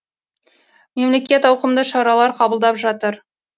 мемлекет ауқымды шаралар қабылдап жатыр